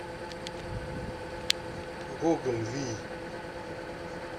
гоголь вий